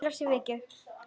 Vel af sér vikið.